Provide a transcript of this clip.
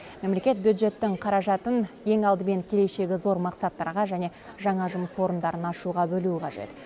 мемлекет бюджеттің қаражатын ең алдымен келешегі зор мақсаттарға және жаңа жұмыс орындарын ашуға бөлуі қажет